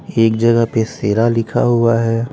एक जगह पे शेरा लिखा हुआ है।